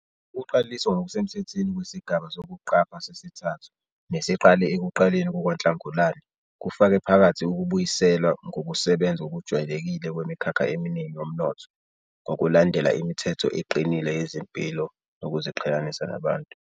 Ukuqaliswa ngokusemthethweni kwesigaba sokuqapha sesithathu, nesiqale ekuqaleni kukaNhlangulana, kufake phakathi ukubuyiselwa kokusebenza ngokujwayelekile kwemikhakha eminingi yomnotho, ngokulandela imithetho eqinile yezempilo nokuziqhelelanisa nabantu.